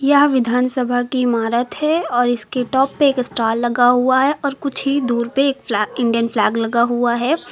यह विधानसभा की इमारत है और इसके टॉप पे एक स्टार लगा हुआ है और कुछ ही दूर पे एक फ्लै इंडियन फ्लैग लगा हुआ है।